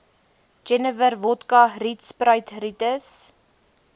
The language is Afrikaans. jenewer wodka rietsppiritus